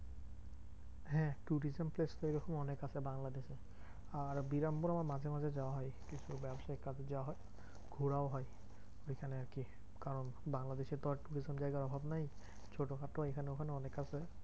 হ্যাঁ tourism place তো ওইরকম অনেক আছে বাংলাদেশে। আর বিরামপুর আমার মাঝে মাঝে যাওয়া হয় কিছু ব্যাবসায়িক কাজে যাওয়া হয় ঘোরাও হয় ঐখানে আরকি। কারণ বাংলাদেশে তো আর এরকম জায়গার অভাব নেই ছোট খাটো এখানে ওখানে অনেক আছে।